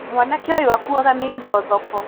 Mwanake ũyũ akuaga mĩrigo thoko